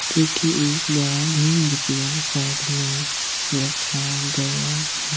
क्युकि एक बडा भी मुर्तिया साइड मे रखा गया --